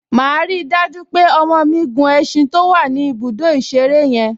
Màá rí i dájú pé ọmọ mi gun ẹṣin to wà ní ibùdó ìṣeré yẹn